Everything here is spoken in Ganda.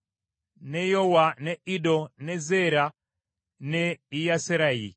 ne Yowa, ne Iddo, ne Zeera, ne Yeyaserayi.